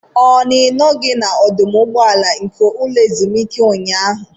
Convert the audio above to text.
Ọ na Ị nọghị n'ọdụ ụgbọala nke ụlọ ezumike ụnyaahụ?